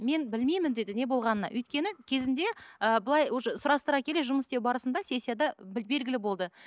мен білмеймін деді не болғанына өйткені кезінде ыыы былай уже сұрастыра келе жұмыс істеу барысында сессияда белгілі болды